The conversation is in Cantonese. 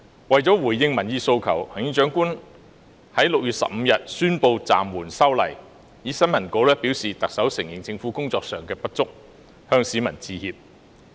為了回應民意訴求，行政長官在6月15日宣布暫緩修例，透過新聞稿承認政府在工作上有所不足，向市民致歉。